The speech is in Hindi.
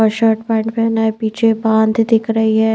और शर्ट पैट पहना है पीछे बांध दिख रही है।